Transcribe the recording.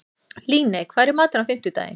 Líney, hvað er í matinn á fimmtudaginn?